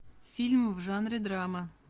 фильм в жанре драма